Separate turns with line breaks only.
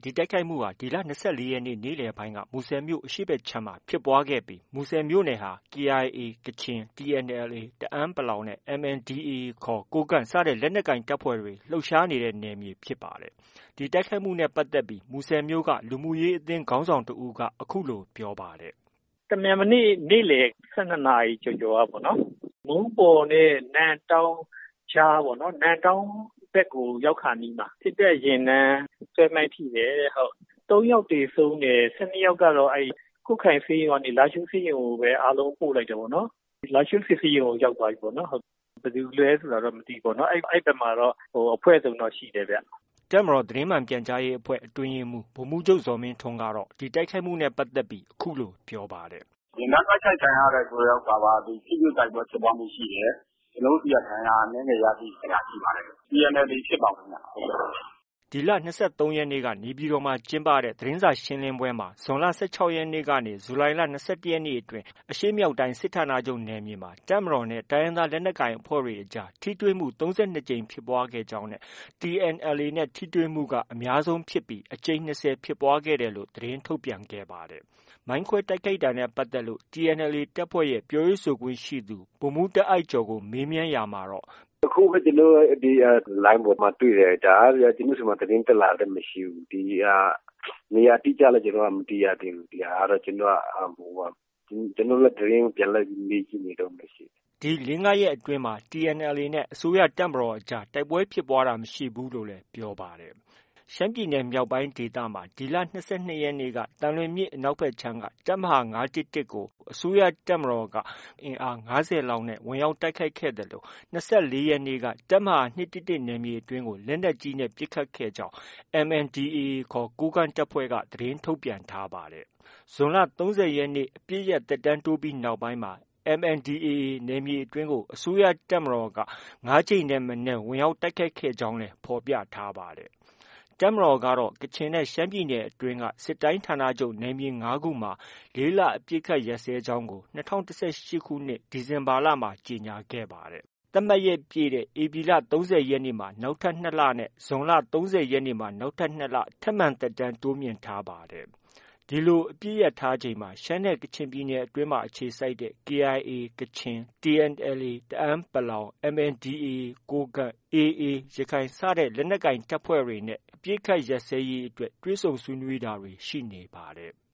ဒီတိုက်ခိုက်မှုဟာ ဒီလ ၂၄ ရက်နေ့ နေ့လည်ပိုင်းက မူဆယ်မြို့ အရှေ့ဘက်ခြမ်းမှာ ဖြစ်ပွားခဲ့တာဖြစ်ပြီး မူဆယ်မြို့နယ်ဟာ KIA ကချင်၊ TNLA တအန်း နဲ့ MNDAA ခေါ် ကိုးကန့်စတဲ့ လက်နက်ကိုင် တပ်ဖွဲ့တွေ လှုပ်ရှားနေတဲ့ နယ်မြေ ဖြစ်ပါတယ်။ ဒီတိုက်ခိုက်ခံရမှုနဲ့ ပတ်သက်ပြီး မူဆယ်မြို့က လူမှုရေးအသင်းခေါင်းဆောင်တဦးက အခုလို ပြောပါတယ်။ “တမြန်မနေ့ နေ့လည် ၁၂နာရီ ကျော်ကျော်ကပေါ့နော်။ မုန်းပေါ်နဲ့ နမ့်တောင်းကြ
ားပေါ့နော်။ နမ့်တောင်းဘက်ကို ရောက်ခါနီးမှာ စစ်တပ်ယာဉ်တန်း ဆွဲမိုင်းထိတယ်တဲ့။ ၃ ယောက် သေဆုံးတယ်။ ၁၂ယောက်ကတော့ ကွတ်ခိုင်ဆေးရုံကနေ လားရှိုးဆေးရုံကိုပဲ အားလုံးပို့လိုက်တယ်ပေါ့နော်။ လားရှိုးစစ်ဆေးရုံကို ရောက်သွားပြီပေါ့နော်။ ဘယ်သူလဲ ဆိုတာတော့ မသိဘူးပေါ့နော်။ အဲဒီဘက်မှာတော့ အဖွဲ့စုံတော့ ရှိတယ်ဗျ။
” တပ်မတော်သ တင်းမှန်ပြန်ကြားရေးအဖွဲ့အတွင်းရေးမှုး ဗိုလ်မှုးချုပ် ဇော်မင်းထွန်းက ဒီတိုက်ခိုက်မှုနဲ့ ပတ်သက်ပြီး အခုလို ပြောပါတယ်။
“ယာဉ်တန်း တို
က်ခိုက်ခံရတယ်ဆိုတာက ထိတွေ့ တိုက်ပွဲဖြစ်ပွားမှု ရှိတယ်။ ကျနော်တို့ ဆီက ဒဏ်ရာအနည်းငယ်ရရှိခဲ့တာ ရှိပါတယ်။ TNLA ဖြစ်ပါတယ်ခင်ဗျ။”
ဒီလ ၂၃ ရက်နေ့က နေပြည်တော်မှာ ကျင်းပတဲ့ သတင်းစာရှင်းလင်းပွဲမှာ ဇွန်လ ၁၆ ရက်နေ့ကနေ ဇူလိုင်လ ၂၁ ရက်နေ့အတွင်း အရှေ့မြောက်တိုင်း စစ်ဌာနချုပ်နယ်မြေမှာ တပ်မတော်နဲ့ တိုင်းရင်းသားလက်နက်ကိုင် အဖွဲ့တွေ အကြား ထိတွေ့မှု ၃၂ ကြိမ်ဖြစ်ပွားကြောင်းနဲ့ TNLA နဲ့ ထိတွေ့မှုက အများဆုံးဖြစ်ပြီး အကြိမ်၂၀ ဖြစ်ပွားခဲ့ကြောင်း သတင်းထုတ်ပြန်ခဲ့ပါတယ်။ မိုင်းခွဲတိုက်ခိုက်မှုနဲ့ ပတ်သက်ပြီး TNLA တပ်ဖွဲ့ရဲ့ ပြောရေးဆိုခွင့်ရှိသူ ဗိုလ်မှူးတားအိုက်ကျော်ကို မေးမြန်းရာမှာ- “အခုပ
ဲ ကျနော်တို့ လိုင်းပေါ်မှာတွေ့တယ်။ ဒါကဗျာ ကျနော်တို့ဆီမှာ သတင်းတက်လာတာလည်း မရှိဘူး။ နေရာအတိအကျလည်း မသိရသေးဘူး။ ကျနော်တို့လည်း သတင်း ပြန်လိုက်မေးနေတုံးပဲရှိတယ်
။” ဒီ ၄- ၅ရက်အတွင်းမှာတော့ TNLA နဲ့ အစိုးရတပ်မတော်အကြား တိုက်ပွဲဖြစ်ပွားတာ မရှိဘူးလို့လည်း ပြောပါတယ်။ ရှမ်းပြည်နယ်မြောက်ပိုင်း ဒေသမှာ ဒီလ ၂၂ ရက်က သံလွင်မြစ်အနောက်ခြမ်းကတပ်မဟာ ၅၁၁ ကို တပ်မတော်အင်အား ၅၀ လောက်နဲ့ ဝင်ရောက်တိုက်ခိုက်ခဲ့သလို ၂၄ ရက်နေ့က တပ်မဟာ ၂၁၁ နယ်မြေအတွင်းကို လက်နက်ကြီးနဲ့ ပစ်ခတ်ခဲ့ကြောင်း MNDAA က သတင်းထုတ်ပြန်ထားပါတယ်။ ဇွန်လ ၃၀ ရက်နေ့ အပစ်ရပ် သက်တမ်းတိုးပြီးနောက်ပိုင်းမှာ MNDAA နယ်မြေအတွင်းကို အစိုးရ တပ်မတော်က ၅ ကြိမ်ထက်မနည်း ဖြစ်ပွားခဲ့ကြောင်းလည်း ဖော်ပြထားပါတယ်။ တပ်မတော်ကတော့ ကချင်နဲ့ ရှမ်းပြည်နယ်အတွင်းက စစ်တိုင်းဌာနချုပ် နယ်မြေ ၅ခုမှာ ၄ လ အပစ်အခတ်ရပ်စဲကြောင်း ၂၀၁၈ ခုနှစ် ဒီဇင်ဘာလမှ ကြေညာခဲ့ပါတယ်။ သတ်မှတ်ရက်ပြည့်တဲ့ ဧပြီလ ၃၀ ရက်မှ နောက်ထပ် ၂ လ နဲ့ ဇွန်လ ၃၀ ရက်မှ နောက်ထပ် ၂ လ ထပ်မံ သက်တမ်းတိုးမြှင့်ထားပါတယ်။ ဒီလို အပစ်ရပ်ထားချိန်မှာပဲ ကချင်နဲ့ ရှမ်းပြည်နယ်အတွင်း အခြေစိုက်တဲ့ KIA ကချင်၊ TNLA တအန်း ၊ MNDAA ကိုးကန့်၊ AA ရခိုင်လက်နက်ကိုင်တပ်တွေနဲ့ အပစ်အခတ်ရပ်စဲရေးအတွက် တွေ့ဆုံဆွေးနွေးတာတွေ ရှိနေပါတယ်။